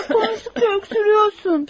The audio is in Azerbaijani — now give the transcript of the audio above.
Apansız öskürürsən.